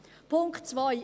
Punkt 2